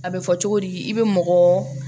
A bɛ fɔ cogo di i bɛ mɔgɔ